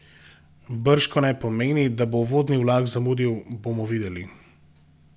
Bržkone pomeni, da bo uvodni vlak zamudil: "Bomo videli.